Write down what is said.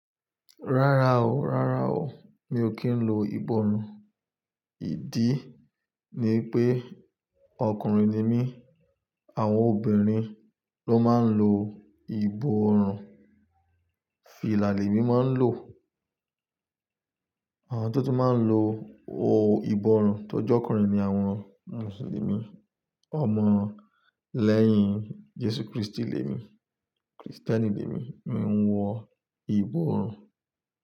Rárá o, rárá o, mi ò kí ń lo ìbọrùn. Ìdí ni pé ọkùnrin ni mí, àwọn obìnrin ló máa ń lo ìbọrùn. Fìlà lèmi máa ń lò, àwọn tó tí máa ń lo ìbọrùn tó jọ́ kùnrin ni àwọn Mùsùlùmí. Ọmọ lẹ́yìn Jésù Kristi lèmi, Krìstẹ́nì lèmi. Mi ń wọ ìbọrùn.